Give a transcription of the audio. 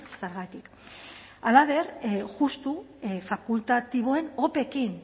zergatik halaber justu fakultatiboen opekin